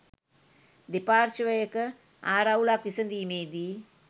දෙපාර්ශවයක ආරවුලක් විසඳීමේදී